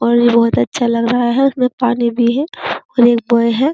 और ये बहुत अच्छा लग रहा है। इसमें पानी भी है और एक बॉय है।